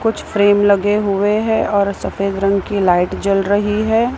कुछ फ्रेम लगे हुए है और सफेद रंग की लाइट जल रही है।